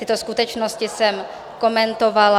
Tyto skutečnosti jsem komentovala...